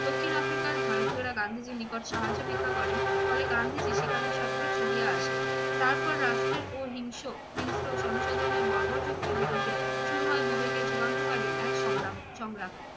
দক্ষিণ আফ্রিকার ভারতীয়রা গান্ধীজীর নিকট সাহায্য ভিক্ষা করেন ফলে গান্ধীজী সেখানে সত্ত্বর ছুটিয়া আসেন। তারপর রাষ্ট্রের ও হিংস~ হিংস্র জনসাধারণের বর্বর যুক্তির বিরুদ্ধে শুরু হয় বিবেকের যুগান্তকারী এক সংগ্রাম সংগ্রাম।